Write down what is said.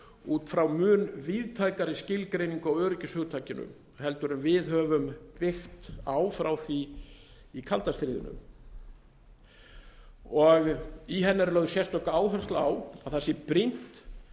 út frá mun víðtækari skilgreiningu á öryggishugtakinu en við höfum byggt á frá því í kalda stríðinu í henni er lögð sérstök áhersla á að það sé brýnt